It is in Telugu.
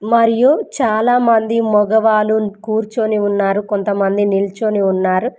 మరియు చాలామంది మగవాళ్ళు కూర్చుని ఉన్నారు కొంతమంది నిల్చుని ఉన్నారు.